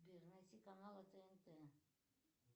сбер найти каналы тнт